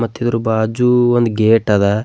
ಮತ್ತ ಇದರ ಬಾಜು ಒಂದ್ ಗೇಟ್ ಅದ.